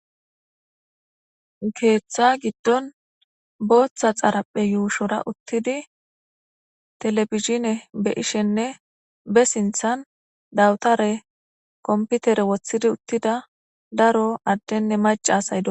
keeththa giddon booththa xarapphe yuushora uttidi televishine be ishenne be sinthan dawutare komputere woththidi uttida daro addenne mac asay do